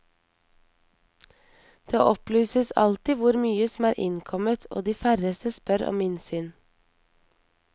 Det opplyses alltid hvor mye som er innkommet, og de færreste spør om innsyn.